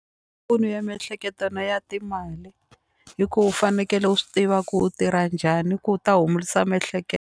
ya miehleketo na ya timali hi ku u fanekele u swi tiva ku u tirha njhani ku u ta humulisa miehleketo.